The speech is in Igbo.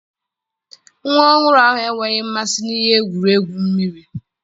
Nwa ọhụrụ ahụ enweghị mmasị na ihe egwuregwu mmiri.